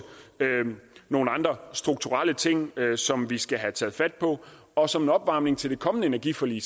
nogle andre strukturelle ting som vi skal have taget fat på og som opvarmning til det kommende energiforlig